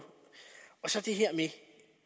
det